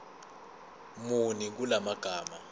muni kula magama